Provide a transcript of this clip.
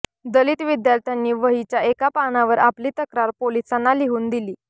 दलित विद्यार्थ्यांनी वहीच्या एका पानावर आपली तक्रार पोलिसांना लिहून दिली